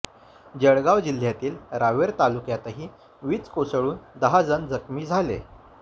जळगाव जिल्ह्यातील रावेर तालुक्यातही वीज कोसळून दहा जण जखमी झाले